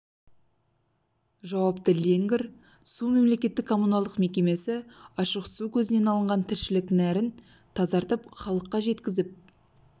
жауапты леңгір су мемлекеттік коммуналдық мекемесі ашық су көзінен алынған тіршілік нәрін тазартып халыққа жеткізіп